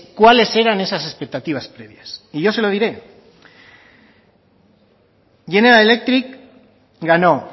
cuáles eran esas expectativas previas y yo se lo diré general electric ganó